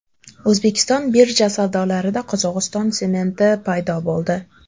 O‘zbekiston birja savdolarida Qozog‘iston sementi paydo bo‘ldi.